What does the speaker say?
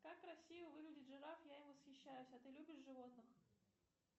как красиво выглядит жираф я им восхищаюсь а ты любишь животных